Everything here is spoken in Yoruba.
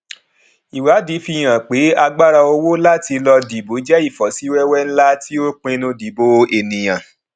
ìwádìí fi hàn pé agbára owó láti lọ dìbò jẹ ìfọsíwẹwẹ ńlá tí ó pinnu dìbò ènìyàn